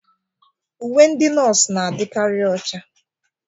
Uwe ndị nọọsụ na-adịkarị ocha.